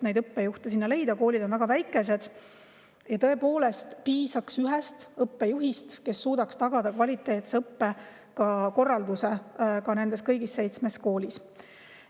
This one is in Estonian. Need koolid on väga väikesed ja tõepoolest piisaks ühest õppejuhist, kes suudaks tagada kvaliteetse õppekorralduse kõigis seitsmes koolis.